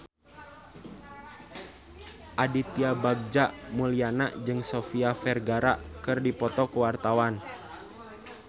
Aditya Bagja Mulyana jeung Sofia Vergara keur dipoto ku wartawan